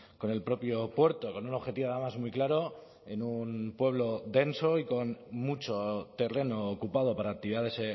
con el propio puerto con un objetivo además muy claro en un pueblo denso y con mucho terreno ocupado para actividades